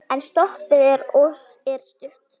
En stoppið er stutt.